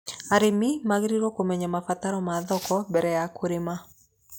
Arĩmi magĩrĩirwo kũmenya mabataro ma thoko mbere ya kũrima.